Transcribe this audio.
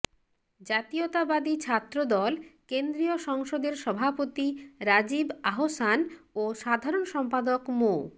জাতীয়তাবাদী ছাত্রদল কেন্দ্রীয় সংসদের সভাপতি রাজিব আহসান ও সাধারণ সম্পাদক মো